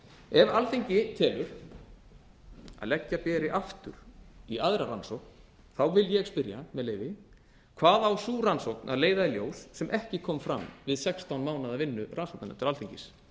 ef alþingi telur að leggja beri aftur í aðra rannsókn vil ég spyrja með leyfi hvað á sú rannsókn að leiða í lesa sem ekki kom fram í sextán mánaða vinnu rannsóknarnefndar alþingis